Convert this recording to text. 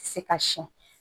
Se ka siyɛn